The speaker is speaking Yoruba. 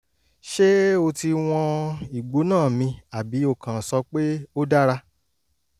ṣé o ti wọn ìgbóná mi àbí o kàn ń sọ pé "ó dára